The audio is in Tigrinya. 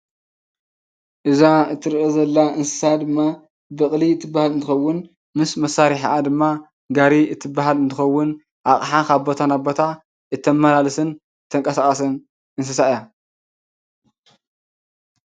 እዛ እትርአ ዘላ እንስሳ ድማ በቕሊ እትበሃል እንትኸውን፣ ምስ መሳርሒኣ ድማ ጋሪ እትበሃል እንትኸውን፣ ኣቅሓ ካብ ቦታ ናብ ቦታ እተማላልስን እተንቀሳቅስን እንስሳ እያ ?